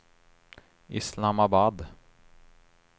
Islamabad